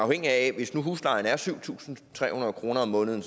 rigtigt at hvis nu huslejen er syv tusind tre hundrede kroner om måneden